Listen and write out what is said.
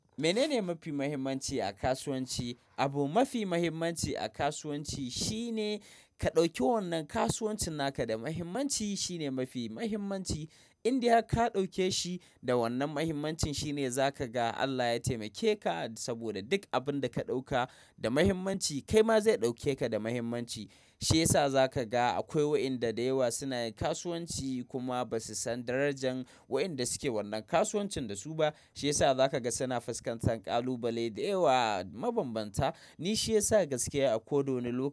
Menene mafi mahimmanci a kasuwanci? Abu mafi mahimmanci a kasuwanci shine ka ɗauki wannan kasuwancin naka da mahimmanci shine mafi mahimmanci. In dai ka ɗauke shi da wannan mahimmancin shine za ka ga Allah ya taimake ka saboda duk abin da ka ɗauka da mahimmanci kai ma zai ɗauke ka da mahimmanci. Shiyasa za ka ga akwai waɗanda da yawa suna yin kasuwanci kuma ba su san darajan waɗanda suke wannan kasuwancin da su ba. Shiyasa za ka ga suna faskantan kalubale da yawa mabambanta. Nishi yasa gaskiya a ko da wane lokaci.